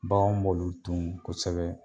Baganw b'olu dun kosɛbɛ